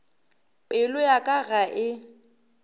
pelo ya ka ga e